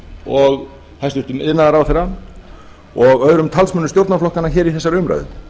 og hæstvirtur iðnaðarráðherra og öðrum talsmönnum stjórnarflokkanna hér í þessari umræðu